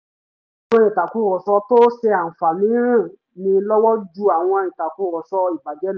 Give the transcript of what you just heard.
àwọn ìtàkùrọ̀sọ tó ṣe àǹfààní ran ni lọ́wọ́ ju àwọn ìtàkùrọ̀sọ ìbàjẹ́ lọ